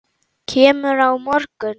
Kemurðu á morgun?